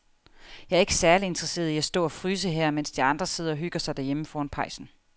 Jeg er ikke særlig interesseret i at stå og fryse her, mens de andre sidder og hygger sig derhjemme foran pejsen.